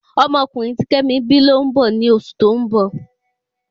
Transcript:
Ọmọ ọkunrin ti kemi bi lo n bọ ni osu to n bọ